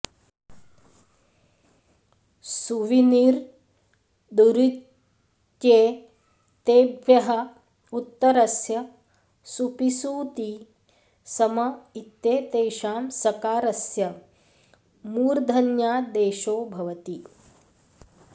सु वि निर् दुरित्येतेभ्यः उत्तरस्य सुपि सूति सम इत्येतेषां सकारस्य मूर्धन्यादेशो भवति